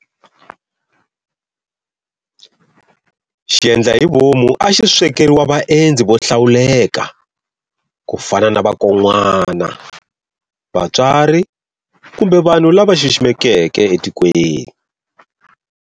Xiendla hi vomu a xi swekeriwa vaendzi vohlawuleka ku fana na vakon'wana, vatswari kumbe vanhu lava xiximekeke etikweni.